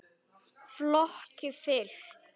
Flokki fylkt.